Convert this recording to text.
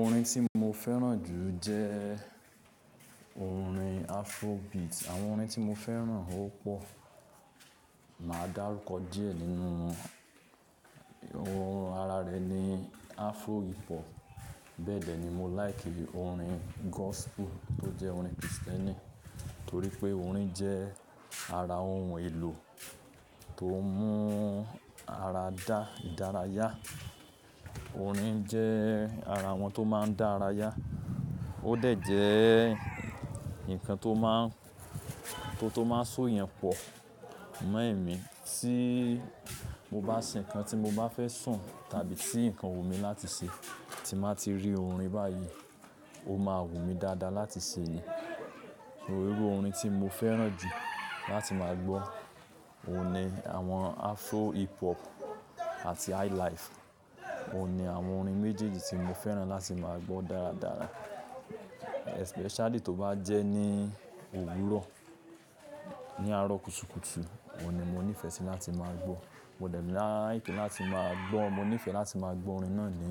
Orin tí mo fẹ́ràn jù jẹ́ orin Afrobeat. Àwọn orin tí mo fẹ́ràn ó pọ̀. Màá dárúkọ díẹ̀ nínú wọn. Ohun ara rẹ ni Afro hip hop. Bẹ́ẹ̀ dẹ ni mo like orin gospel tó jẹ́ orin Krìstìẹ́nì, torí pé orin jẹ́ ara ohun èlò tó ń mú ara dá ìdárayá. Orin jẹ́ ara àwọn tó máa ń dá ara yá. Ó dẹ̀ jẹ́ nǹkan tó máa ń, tó tó máa ń so yàn pọ̀ mọ́ ẹ̀mí. Tí mo bá sìn nǹkan tí mo bá fẹ́ sùn tàbí tí nǹkan wù mí láti ṣe tí màá ti rí orin báyìí, ó máa wù mí dáadáa láti ṣe èyí. Irú orin tí mo fẹ́ràn jù láti máa gbọ́ òun ni àwọn Afro hip hop àti highlife. Òun ni àwọn orin méjèèjì tí mo fẹ́ràn láti máa gbọ́ dáradára. Especially tó bá jẹ́ ní òwúrọ̀, ní àárọ̀ kùtùkùtù, òní mo nífẹ̀ẹ́ sí láti máa gbọ́. Mo dẹ̀ lá like láti máa gbọ́. Mo nífẹ̀ẹ́ láti máa gbọ́ orin náà ní